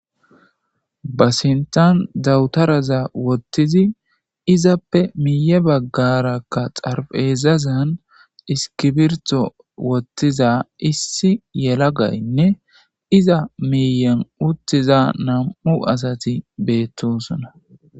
ba sintan dawutaraza wottizi izappe miye baggarakka xaraphpheezazan iskibirto wottiza issi yelagaynne iza miiyen uttiza nam'u asati beettosona